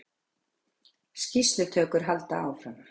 Skýrslutökur halda áfram